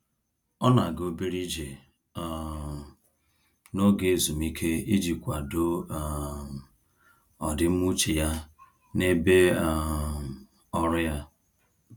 Ọ na-aga obere ije um n'oge ezumike iji kwado um ọdịmma uche ya n'ebe um ọrụ ya.